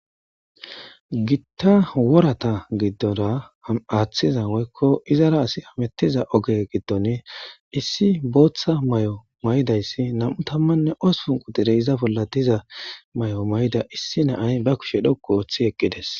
gitta worata giddora aaththiza woykko izara asi amettiza oge giddon issi booththa may7o maydayssi nam7u tammanne osupunqu dire iza bolla diza may7o mayda issi naay ba kushe dhokku ooththi eqqides